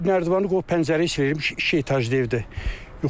Nərdivanı qoyub pəncərəni silirmiş, iki etajlı evdir yuxarıda.